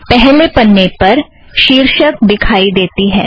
पहला पन्ने पर शिर्षक दिखाई देती है